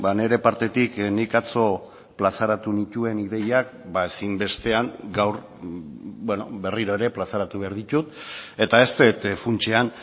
nire partetik nik atzo plazaratu nituen ideiak ezinbestean gaur berriro ere plazaratu behar ditut eta ez dut funtsean